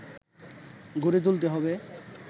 গড়ে তুলতে হবে